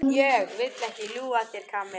Ég vil ekki ljúga að þér, Kamilla.